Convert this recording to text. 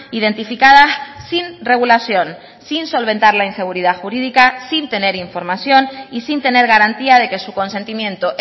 identificadas sin regulación sin solventar la inseguridad jurídica sin tener información y sin tener garantía de que su consentimiento